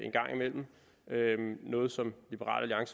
gang imellem noget som liberal